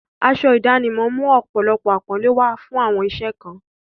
Aṣọ ìdánimọ̀ ń mú ọ̀pọ̀lọpọ̀ àpọ́nlé wá fún àwọn iṣẹ́ kan.